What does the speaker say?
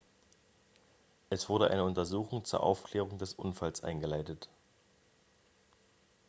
es wurde eine untersuchung zur aufklärung des unfalls eingeleitet